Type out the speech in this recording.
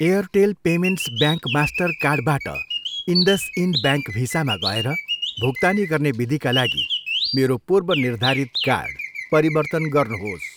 Airtel payments bank मास्टरकार्डबाट IndusInd bank भिसामा गएर भुक्तानी गर्ने विधिका लागि मेरो पूर्वनिर्धारित कार्ड परिवर्तन गर्नुहोस्।